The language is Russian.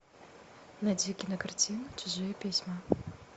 найди кинокартину чужие письма